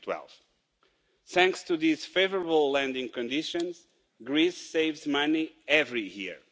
2012. Thanks to these favourable landing conditions, Greece saves money every year.